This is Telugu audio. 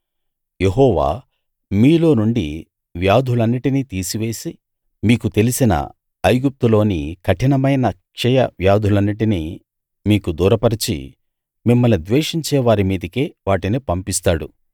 యెహోవా మీలో నుండి వ్యాధులన్నిటినీ తీసివేసి మీకు తెలిసిన ఐగుప్తులోని కఠినమైన క్షయ వ్యాధులన్నిటినీ మీకు దూరపరచి మిమ్మల్ని ద్వేషించే వారి మీదికే వాటిని పంపిస్తాడు